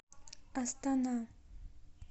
астана